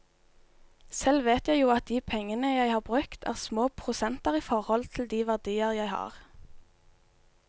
Selv vet jeg jo at de pengene jeg har brukt, er små prosenter i forhold til de verdier jeg har.